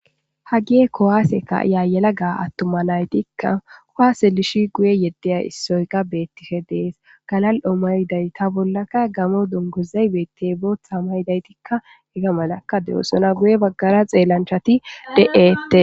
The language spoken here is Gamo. hageye kuwase ka'iya yellagga attumma naytikka kuwase dishi guye yeddeya issoyka bettishshee de'ees galal'o maydayitta bollakka gammo dunguzay bettya booththa maydaytikka ega malakka de'ossna guye baggara xeellancjchatti de'ettees